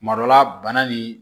Kuma dɔ la bana nin